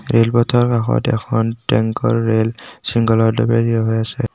Rail পথৰ কাষত এখন টেংকৰ ৰেল হৈ আছে।